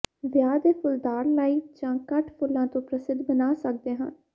ਵਿਆਹ ਦੇ ਫੁੱਲਦਾਰ ਲਾਈਵ ਜਾਂ ਕਟ ਫੁੱਲਾਂ ਤੋਂ ਪ੍ਰਸਿੱਧ ਬਣਾ ਸਕਦੇ ਹਨ